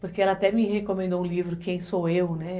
Porque ela até me recomendou um livro, Quem Sou Eu, né?